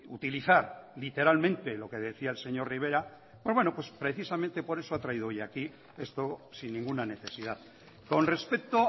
utilizar literalmente lo que decía el señor rivera pues bueno precisamente por eso ha traído hoy aquí esto sin ninguna necesidad con respecto